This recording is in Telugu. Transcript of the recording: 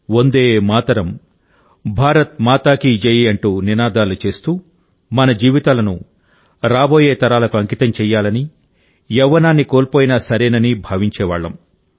వందేమాతరం భారత్ మా కీ జై అంటూ నినాదాలు చేస్తూ మన జీవితాలను రాబోయే తరాలకు అంకితం చేయాలని యవ్వనాన్ని కోల్పోయినా సరేనని భావించేవాళ్ళం